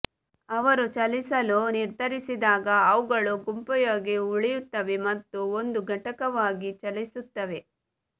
ಅವರು ಚಲಿಸಲು ನಿರ್ಧರಿಸಿದಾಗ ಅವುಗಳು ಗುಂಪುಯಾಗಿ ಉಳಿಯುತ್ತವೆ ಮತ್ತು ಒಂದು ಘಟಕವಾಗಿ ಚಲಿಸುತ್ತವೆ